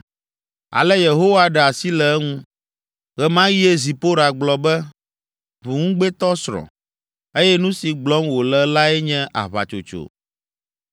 Ale Yehowa ɖe asi le eŋu. (Ɣe ma ɣie Zipora gblɔ be, “Ʋuŋugbetɔsrɔ̃,” eye nu si gblɔm wòle lae nye aʋatsotso.)